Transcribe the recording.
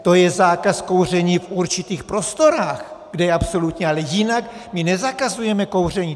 To je zákaz kouření v určitých prostorách, kde je absolutní, ale jinak my nezakazujeme kouření.